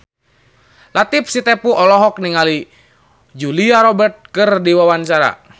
Latief Sitepu olohok ningali Julia Robert keur diwawancara